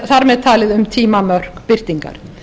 þar með talið um tímamörk birtingar